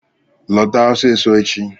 Lọta ọsịsọ echi!